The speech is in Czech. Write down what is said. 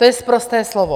To je sprosté slovo.